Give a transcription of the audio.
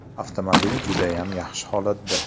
Avtomobil judayam yaxshi holatda.